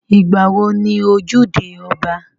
Ìgbà wo ni ojúde ọba?